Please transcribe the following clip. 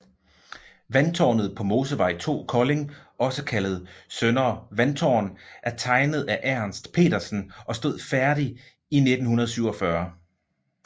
Vandtårnet på Mosevej 2 Kolding også kaldet Søndre Vandtårn er tegnet af Ernst Petersen og stod færdigt i 1947